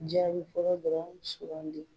Jaabi fɔlɔ yɛɛ dɔrɔn de.